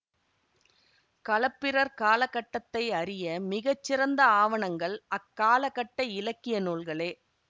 களப்பிரர் காலகட்டத்தை அறிய மிகச்சிறந்த ஆவணங்கள் அக்காலகட்ட இலக்கிய நூல்களே